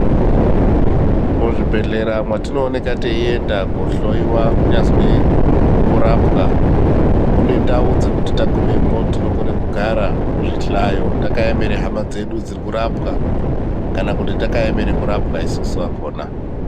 Muzvibhedhlera mwatinooneka teienda kunohloiwa kunyazwi kurapwa mune ndau dzekuti tagumemwo tinogone kugara zvihlayo. Takaemera hama dzedu dzirikurapwa kana kuti takaemera kurapwa isusu vakona.